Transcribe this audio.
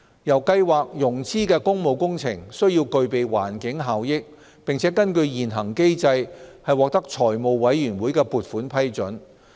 由計劃融資的工務工程，須具備環境效益，並根據現行機制獲得財務委員會的撥款批准。